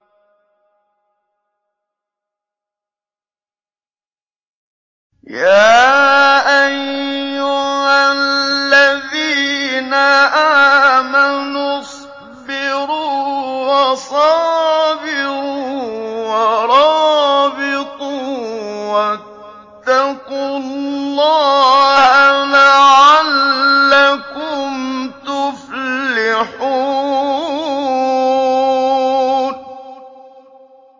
يَا أَيُّهَا الَّذِينَ آمَنُوا اصْبِرُوا وَصَابِرُوا وَرَابِطُوا وَاتَّقُوا اللَّهَ لَعَلَّكُمْ تُفْلِحُونَ